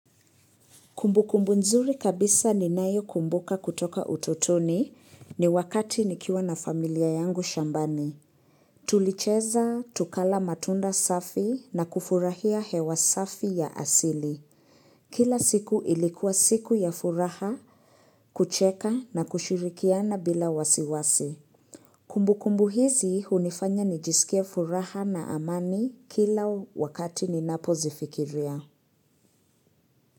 Kumbukumbu nzuri kabisa ninayo kumbuka kutoka utotoni ni wakati nikiwa na familia yangu shambani. Tulicheza, tukala matunda safi na kufurahia hewa safi ya asili. Kila siku ilikuwa siku ya furaha, kucheka na kushirikiana bila wasiwasi. Kumbukumbu hizi hunifanya nijisikie furaha na amani kila wakati ninapo zifikiria.